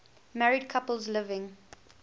married couples living